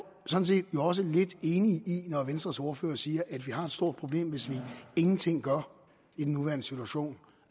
sådan set også lidt enig i det når venstres ordfører siger at vi har et stort problem hvis vi ingenting gør i den nuværende situation